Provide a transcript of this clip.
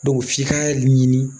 f'i ka ɲini